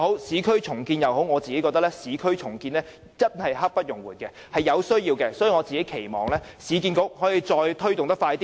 最後，我認為市區重建實在刻不容緩，是有必要的，所以我期望市建局可以加快推動措施。